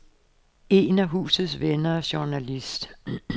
En af husets venner er journalist.